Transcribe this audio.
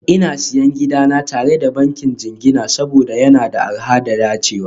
Ina Siyan gidana tare da bankin jingina saboda yana da arha da dacewa